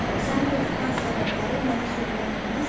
Səni qorxudan səbəbləri mənə söyləyə bilməzsənmi?